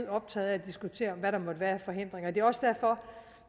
optaget af at diskutere hvad der måtte være af forhindringer det er også derfor